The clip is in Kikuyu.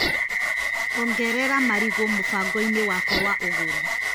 Ongerera marigũ mũbango-inĩ wakwa wa ũgũri .